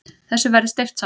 Þessu verði steypt saman.